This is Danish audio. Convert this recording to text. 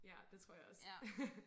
ja det tror jeg også